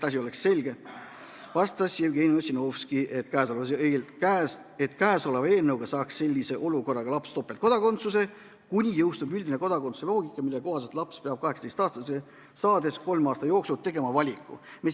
Jevgeni Ossinovski vastas, et käesoleva eelnõu kohaselt saaks laps sellises olukorras topeltkodakondsuse seniks, kuni saab rakendada üldist kodakondsuse loogikat, mille kohaselt peab laps 18-aastaseks saades kolme aasta jooksul tegema valiku.